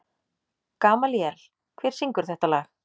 Gamalíel, hver syngur þetta lag?